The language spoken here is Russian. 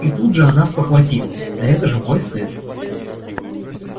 и тут же она спохватывалась да это же мой сын